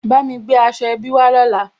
Bámi gbé aṣọ ẹbí wá lọ́la